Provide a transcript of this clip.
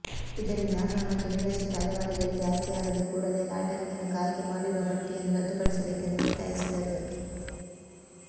ಇದರಿಂದ ಅರ್ಹ ಮತ್ತು ನಿರಾಶ್ರಿತ ಅಲೆಮಾರಿಗಳಿಗೆ ಆಯ್ಕೆಯಾಗದೆ ಕೂಡಲೇ ಲಾಟರಿ ಮೂಲಕ ಆಯ್ಕೆ ಮಾಡಿರುವ ಪಟ್ಟಿಯನ್ನು ರದ್ದುಪಡಿಸಬೇಕಂದು ಒತ್ತಾಯಿಸಿದರು